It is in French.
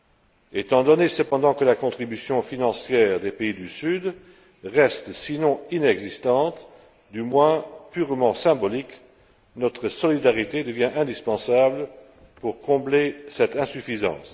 Cependant, étant donné que la contribution financière des pays du sud reste, sinon inexistante, du moins purement symbolique, notre solidarité devient indispensable pour combler cette insuffisance.